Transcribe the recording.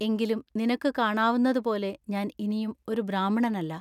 എങ്കിലും നിനക്കു കാണാവുന്നതു പോലെ ഞാൻ ഇനിയും ഒരു ബ്രാഹ്മണനല്ല.